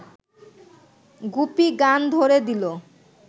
গুপি গান ধ’রে দিল